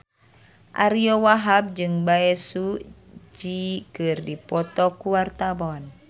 Ariyo Wahab jeung Bae Su Ji keur dipoto ku wartawan